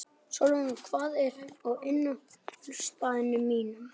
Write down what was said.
Svalrún, hvað er á innkaupalistanum mínum?